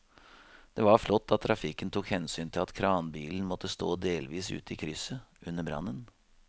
Det var flott at trafikken tok hensyn til at kranbilen måtte stå delvis ute i krysset under brannen.